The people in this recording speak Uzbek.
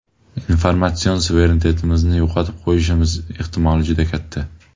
Informatsion suverenitetimizni yo‘qotib qo‘yishimiz ehtimoli juda katta.